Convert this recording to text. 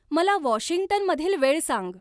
मला वॉशिंग्टनमधील वेळ सांग